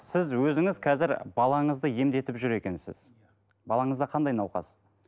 сіз өзіңіз қазір балаңызды емдетіп жүр екенсіз балаңызда қандай науқас